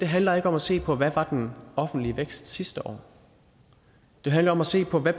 handler ikke om at se på hvad den offentlige vækst var sidste år det handler om at se på hvad